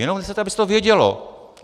Jenom nechcete, aby se to vědělo.